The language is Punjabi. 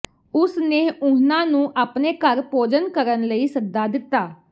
ਉਸ ਨੇ ਉਨ੍ਹਾਂ ਨੂੰ ਆਪਣੇ ਘਰ ਭੋਜਨ ਕਰਨ ਲਈ ਸੱਦਾ ਦਿੱਤਾ